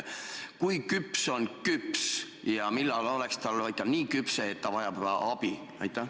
Kui küps on küps ja millal on ta nii küpse, et vajab abi?